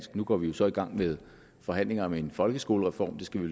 nu går vi jo så i gang med forhandlinger om en folkeskolereform det skal vi